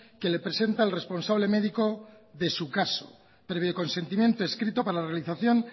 que le presenta el responsable médico de su caso previo consentimiento escrito para la realización